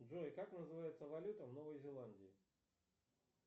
джой как называется валюта в новой зеландии